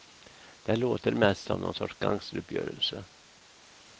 Det låter mest som nån sorts gangsteruppgörelse.